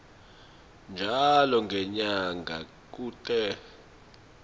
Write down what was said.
njalo ngenyanga kute